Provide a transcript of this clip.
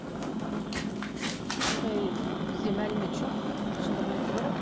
ыыы ондай бізде мәлімет жоқ шындығын айту керек